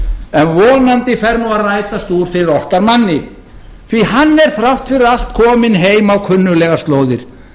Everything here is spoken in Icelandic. en vonandi fer nú að rætast úr fyrir okkar manni því að hann er þrátt fyrir allt kominn heim á kunnuglegar slóðir